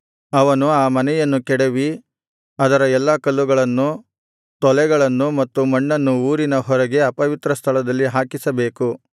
ಅವನು ಆ ಮನೆಯನ್ನು ಕೆಡವಿ ಅದರ ಎಲ್ಲಾ ಕಲ್ಲುಗಳನ್ನು ತೊಲೆಗಳನ್ನು ಮತ್ತು ಮಣ್ಣನ್ನು ಊರಿನ ಹೊರಗೆ ಅಪವಿತ್ರಸ್ಥಳದಲ್ಲಿ ಹಾಕಿಸಬೇಕು